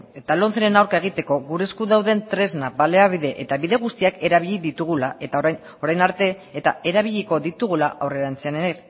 eta lomceren aurka egiteko gure esku dauden tresna baliabide eta bide guztiak erabili ditugula eta orain arte eta erabiliko ditugula aurrerantzean ere